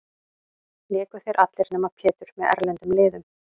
Léku þeir allir, nema Pétur, með erlendum liðum.